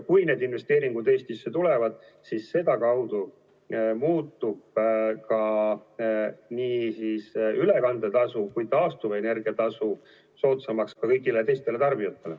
Kui need investeeringud Eestisse tulevad, siis sedakaudu muutub ka nii ülekande tasu kui taastuvenergia tasu soodsamaks ka kõigile teistele tarbijatele.